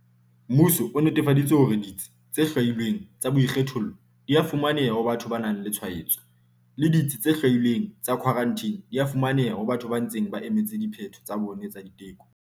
Mmuso o netefaditse hore ditsi tse hlwailweng tsa boikgethollo di a fumaneha ho batho ba nang le tshwaetso, le ditsi tse hlwailweng tsa khwarantine di a fumaneha ho batho ba ntseng ba emetse diphetho tsa bona tsa diteko.